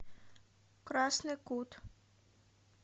красный кут